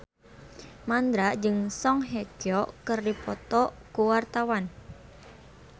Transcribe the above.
Mandra jeung Song Hye Kyo keur dipoto ku wartawan